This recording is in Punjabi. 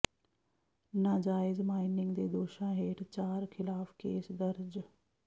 ਨਾਜਾਇਜ਼ ਮਾਈਨਿੰਗ ਦੇ ਦੋਸ਼ਾਂ ਹੇਠ ਚਾਰ ਖ਼ਿਲਾਫ਼ ਕੇਸ ਦਰਜ